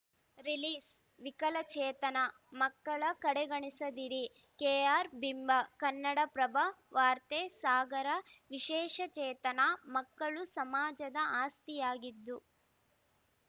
ರಿಲೀಸ್‌ವಿಕಲಚೇತನ ಮಕ್ಕಳ ಕಡೆಗಣಿಸದಿರಿ ಕೆಆರ್‌ಬಿಂಬ ಕನ್ನಡಪ್ರಭ ವಾರ್ತೆ ಸಾಗರ ವಿಶೇಷಚೇತನ ಮಕ್ಕಳು ಸಮಾಜದ ಆಸ್ತಿಯಾಗಿದ್ದು